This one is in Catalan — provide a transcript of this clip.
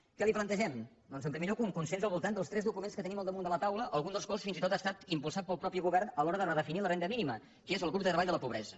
què li plantegem doncs en primer lloc un consens al voltant dels tres documents que tenim al damunt de la taula algun dels quals fins i tot ha estat impulsat pel mateix govern a l’hora de redefinir la renda mínima que és del grup de treball de la pobresa